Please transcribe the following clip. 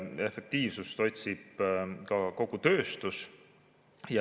Efektiivsust otsib ka kogu tööstus.